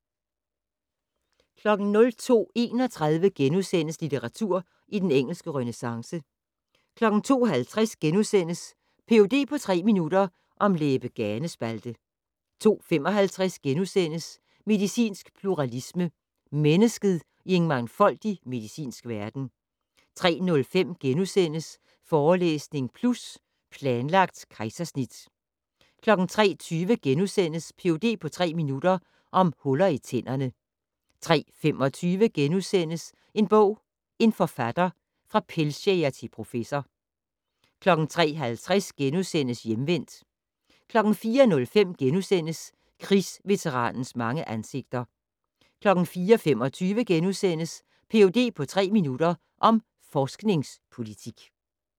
02:31: Litteratur i den engelske renæssance * 02:50: Ph.d. på tre minutter - om læbe-ganespalte * 02:55: Medicinsk pluralisme - mennesket i en mangfoldig medicinsk verden * 03:05: Forelæsning Plus - Planlagt kejsersnit * 03:20: Ph.d. på tre minutter - om huller i tænderne * 03:25: En bog, en forfatter - fra pelsjæger til professor * 03:50: Hjemvendt * 04:05: Krigsveteranens mange ansigter * 04:25: Ph.d. på tre minutter - om forskningspolitik *